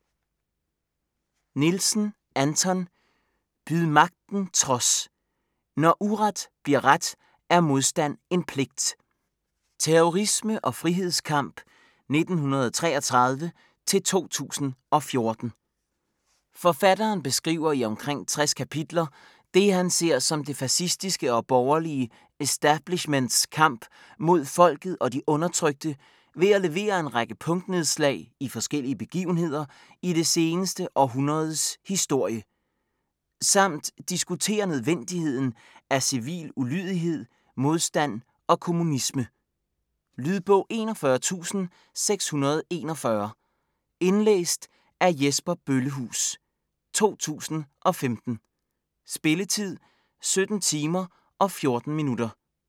Nielsen, Anton: Byd magten trods!: når uret bliver ret er modstand en pligt Terrorisme og frihedskamp 1933-2014. Forfatteren beskriver i omkring 60 kapitler, det han ser som det fascistiske og borgerlige establishments kamp mod folket og de undertrykte ved at levere en række punktnedslag i forskellige begivenheder i det seneste århundredes historie. Samt diskuterer nødvendigheden af civil ulydighed, modstand og kommunisme. Lydbog 41641 Indlæst af Jesper Bøllehuus, 2015. Spilletid: 17 timer, 14 minutter.